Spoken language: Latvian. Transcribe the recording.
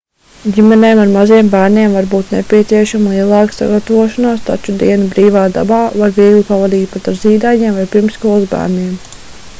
ģimenēm ar maziem bērniem var būt nepieciešama lielāka sagatavošanās taču dienu brīvā dabā var viegli pavadīt pat ar zīdaiņiem vai pirmsskolas bērniem